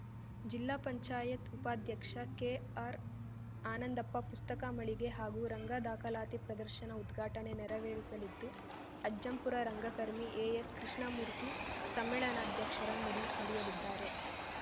ಜಿಲ್ಲಾಪಂಚಾಯತ್ ಉಪಾಧ್ಯಕ್ಷ ಕೆಆರ್‌ ಆನಂದಪ್ಪ ಪುಸ್ತಕ ಮಳಿಗೆ ಹಾಗೂ ರಂಗ ದಾಖಲಾತಿ ಪ್ರದರ್ಶನ ಉದ್ಘಾಟನೆ ನೆರವೇರಿಸಲಿದ್ದು ಅಜ್ಜಂಪುರ ರಂಗಕರ್ಮಿ ಎಎಸ್‌ ಕೃಷ್ಣಮೂರ್ತಿ ಸಮ್ಮೇಳನಾಧ್ಯಕ್ಷರ ನುಡಿ ನುಡಿಯಲಿದ್ದಾರೆ